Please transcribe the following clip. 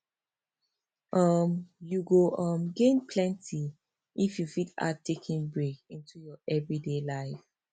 um you go um gain plenty if you fit add taking break into your everyday life